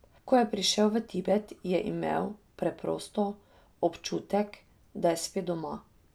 Ko je prišel v Tibet, je imel, preprosto, občutek, da je spet doma.